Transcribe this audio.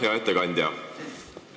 Hea ettekandja!